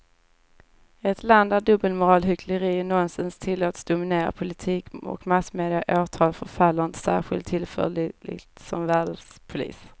Ett land där dubbelmoral, hyckleri och nonsens tillåts dominera politik och massmedia i åratal förefaller inte särskilt tillförlitligt som världspolis.